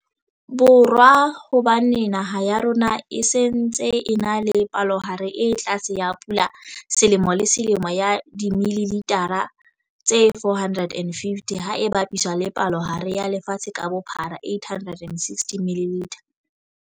Borwa hobane naha ya rona e se ntse e na le palohare e tlase ya pula selemo le selemo ya dimililitha tse 450, ha e bapiswa le palohare ya lefatshe ka bophara 860ml.